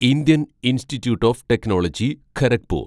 Indian institute of technology Kharagpur